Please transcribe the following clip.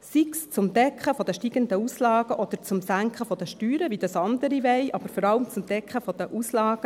sei es für die Deckung der steigenden Auslagen oder für die Senkung der Steuern, wie dies andere wollen, aber vor allem für die Deckung der Auslagen.